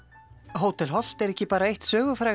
hótel Holt er ekki bara eitt